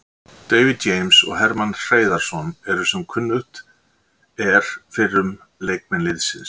David James og Hermann Hreiðarsson eru sem kunnugt er fyrrum leikmenn liðsins.